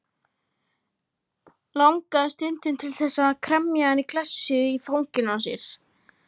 Langaði stundum til þess að kremja hana í klessu í fanginu á sér.